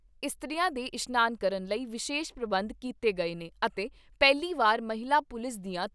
ਇਸਤਰੀਆਂ ਦੇ ਇਸ਼ਨਾਨ ਕਰਨ ਲਈ ਵਿਸ਼ੇਸ਼ ਪ੍ਰਬੰਧ ਕੀਤੇ ਗਏ ਨੇ ਅਤੇ ਪਹਿਲੀ ਵਾਰ ਮਹਿਲਾ ਪੁਲਿਸ ਦੀਆਂ